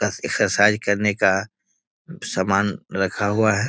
कस exercise करने का समान रखा हुआ है।